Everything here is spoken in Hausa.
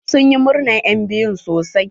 Sun yi murnar enbiyun sosai.